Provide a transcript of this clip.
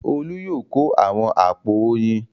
Olú yóò kó àwọn àpò oyin.